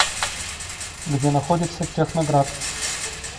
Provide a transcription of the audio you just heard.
где находится техноград